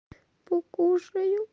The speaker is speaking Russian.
покушаю